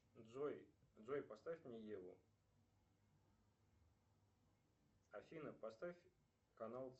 джой джой поставь мне еву афина поставь канал